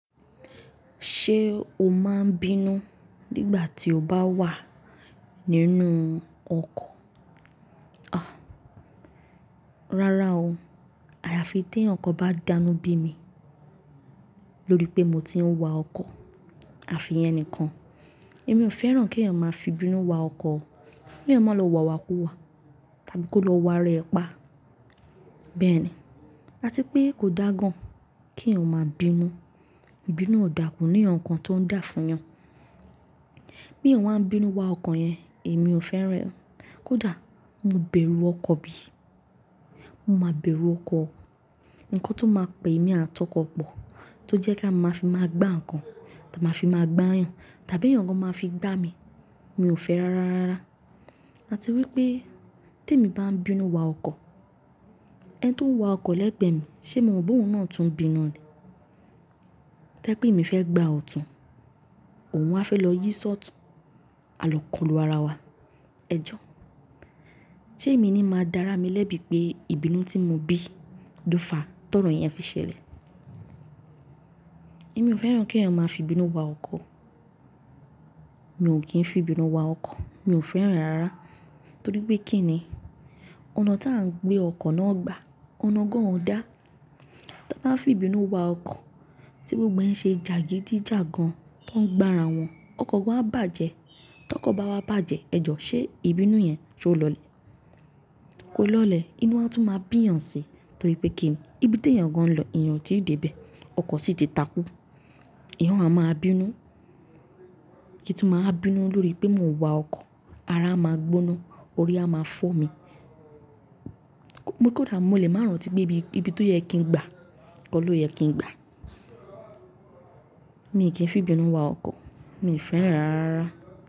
Ṣé o máa ń bínú nígbà tí o bá wà nínú ọkọ̀? Rárá o, àyàfi tí ẹ̀yàn kan bá dánú bí mi lórí pé mo ti ń wa ọkọ̀, àfi ẹnìkan. Èmi ò fẹ́ràn kí ẹ̀yàn máa fi bínú wa ọkọ̀. Kí ẹ̀yàn máa lọ wà wá kú wá, tàbí kó lọ wá rẹ ẹ pa. Bẹ́ẹ̀ ni. Àti pé kò dá gan kí ẹ̀yàn máa bínú. Ìbínú ò dà kò ní nǹkan kan tó ń dà fún ẹ̀yàn. Bí ẹ̀yàn wan bínú wá ọkọ yẹn èmi ò fẹ́ràn ẹ kódà mo bẹ̀rù ọkọ bí mo máa bẹ̀rù ọkọ o. Ǹkan tó máa pè mí àtọkọ̀ pọ̀, tó jẹ́ kí a máa fi máa gbá ǹkan, tàbí a máa fi máa gbáyàn, tàbí ẹ̀yàn gan máa fi gbá mi, mi ò fẹ́ rárá. Àti wípé tèmi bán bínú wa ọkọ ẹni tón wa ọkọ lẹ́gbẹ̀ mi ṣé mo ma bó òun na tún bínú ni tẹ́ pé èmi fẹ́ gbá ọ̀tún, òun á fẹ́ lọ yí sọ́tun. A lè kọlù ara wa. Ẹ jọ. Ṣé èmi ni máa dára mi lẹ́bi pé ìbínú tí mo bí dúfà tọ̀rọ̀ ẹ̀yàn fi ṣẹlẹ̀? Èmi ò fẹ́ràn kẹ́yàn ma fi ìbínú wa ọkọ. Mi ò kí ń fi ibínú wa ọkọ̀. Mi ò fẹ́ràn rárá. Torí pé kí ni? Ọ̀nà tí à ń gbé ọkọ̀ náà gbà, ọ̀nà gan ò dá. Tí a bá fi bínú wa ọkọ̀, tí gbogbo ẹ̀ se ṣe jàgídíjàgan tó ń gbá ara wọn, ọkọ̀ gan á bàjẹ́. Tí ọkọ̀ bá wá bàjẹ́, ẹ jọ, ṣé ìbínú yẹn ṣé ó lọlẹ̀? Kò lọlẹ̀. Inú á tún máa bí ẹ̀yàn si. Torí pé kí ni? Ibi tí ẹ̀yàn gan lọ, ẹ̀yàn ti dé bẹ́ẹ̀, ọkọ̀ sì ti takú. Ẹ̀yàn ma máa bínú. I tún máa ń bínú lórí pé mò ń wa ọkọ̀. Ara máa gbóná, orí á máa fọ́ mi. Kódà mo lè máa rántí pé ibi tó yẹ kí ń gbá, ko lo yẹ kí ń gbá. Mi kí fi ibínú wa ọkọ̀. Mi fẹ́ràn ẹ rárarara.